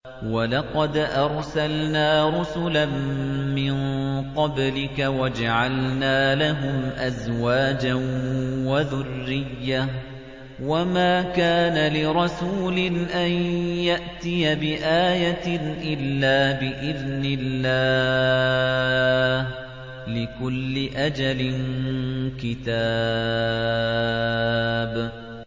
وَلَقَدْ أَرْسَلْنَا رُسُلًا مِّن قَبْلِكَ وَجَعَلْنَا لَهُمْ أَزْوَاجًا وَذُرِّيَّةً ۚ وَمَا كَانَ لِرَسُولٍ أَن يَأْتِيَ بِآيَةٍ إِلَّا بِإِذْنِ اللَّهِ ۗ لِكُلِّ أَجَلٍ كِتَابٌ